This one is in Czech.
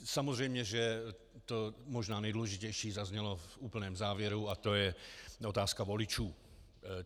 Samozřejmě, že to možná nejdůležitější zaznělo v úplném závěru, a to je otázka voličů.